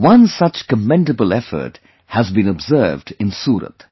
One such commendable effort has been observed in Surat